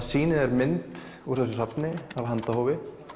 sýnir þér mynd úr þessu safni af handahófi